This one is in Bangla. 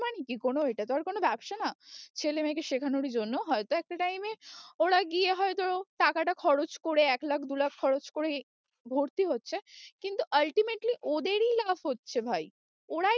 মানে কি কোনো এটা তো আর কোনো ব্যবসা না ছেলে মেয়েকে শেখানোরই জন্য হয়তো একটা time এ ওরা গিয়ে হয়তো টাকাটা খরচ করে এক লাখ দু লাখ খরচ করে ভর্তি হচ্ছে কিন্তু ultimately ওদেরই লাভ হচ্ছে ভাই, ওরাই